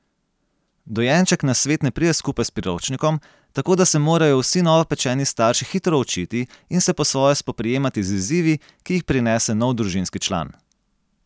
Dojenček na svet ne pride skupaj s priročnikom, tako da se morajo vsi novopečeni starši hitro učiti in se po svoje spoprijemati z izzivi, ki jih prinese nov družinski član.